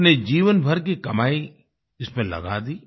अपने जीवनभर की कमाई इसमें लगा दी